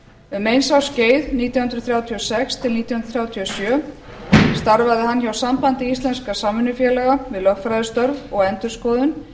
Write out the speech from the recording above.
um eins árs skeið nítján hundruð þrjátíu og sex til nítján hundruð þrjátíu og sjö starfaði hann hjá sambandi íslenskra samvinnufélaga við lögfræðistörf og endurskoðun